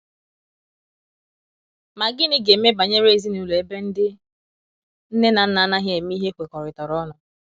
Ma gịnị ga eme banyere ezinụlọ ebe ndị nne na nna anaghi eme ihe ekwekoritara ọnụ